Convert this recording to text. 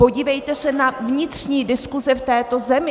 Podívejte se na vnitřní diskuze v této zemi.